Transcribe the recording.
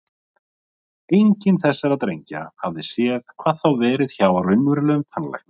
Enginn þessara drengja hafði séð, hvað þá verið hjá raunverulegum tannlækni.